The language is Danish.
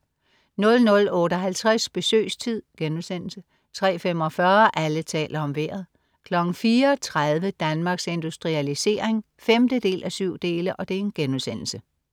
00.58 Besøgstid* 03.45 Alle taler om Vejret 04.30 Danmarks Industrialisering 5:7*